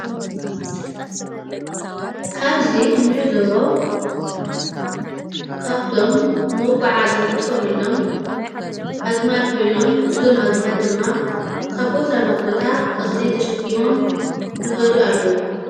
ካብዙ እንዕዞበ ካብቶም ንመጕዓዘ እንጥቆምሎም ኣግማል ኮይኖም እዞም ኣግማል ድማ ካብ ቦታናቦታ እኽሊ ተሸኪሞም ይኸዱ ኣለዉ።